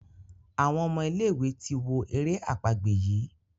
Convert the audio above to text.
Àwọn omo ilé ìwé tí wọ èrè àpagbè yi.